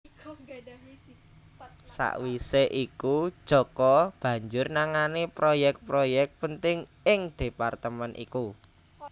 Sawisé iku Djoko banjur nangani proyek proyek penting ing departemen iku